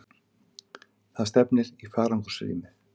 Það stefnir í farangursrýmið.